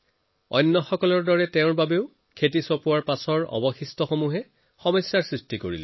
আন মানুহৰ দৰেই খেতিত নৰা তেওঁৰ সন্মুখতো এটা ডাঙৰ সমস্যা আছিল